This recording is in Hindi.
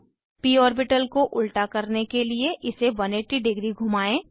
प ऑर्बिटल को उल्टा करने के लिए इसे 180 डिग्री घुमाएं